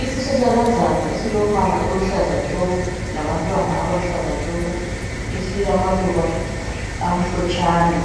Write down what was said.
Isihlahlakazana esilombala oluhlaza tshoko labantwana abaluhlaza tshoko esilamaluba amhlotshana.